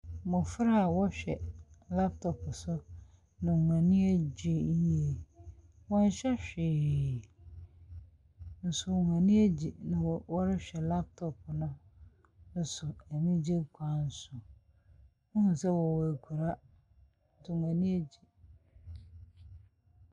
Mmɔfra ɔrehwɛ laptop so na wɔani agye yie. Wɔn hyɛ whee nso wɔani agye na ɔrehwɛ laptop no so anigyie kwan so. Wohu sɛ ɔwɔ ɛkura nti wɔani agye.